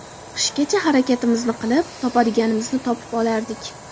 Qishgacha harakatimizni qilib topadiganimizni topib olardik.